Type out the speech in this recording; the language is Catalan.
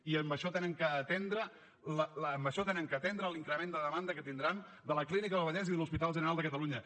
i amb això han d’atendre l’increment de demanda que tindran de la clínica del vallès i de l’hospital general de catalunya